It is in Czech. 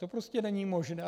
To prostě není možné.